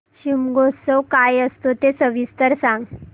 शिमगोत्सव काय असतो ते सविस्तर सांग